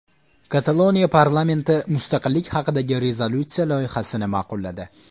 Kataloniya parlamenti mustaqillik haqidagi rezolyutsiya loyihasini ma’qulladi.